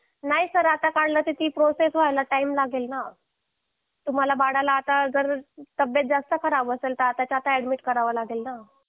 नाही सर आता काढला तर ती प्रोसेस व्हायला टाईम लागेल ना तुम्हाला बाळाला आता जर तब्येत जास्त खराब असेल तर आत्ताच्या आत्ता ऍडमिट करावे लागेल ना